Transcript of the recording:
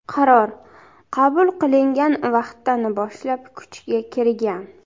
Qaror qabul qilingan vaqtdan boshlab kuchga kirgan.